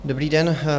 Dobrý den.